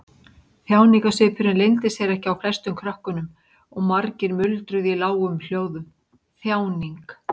Þjáningarsvipurinn leyndi sér ekki á flestum krökkunum og margir muldruðu í lágum hljóðum: Þjáning.